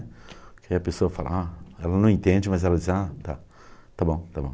Aí a pessoa fala, ah ela não entende, mas ela diz, ah, tá, está bom, está bom.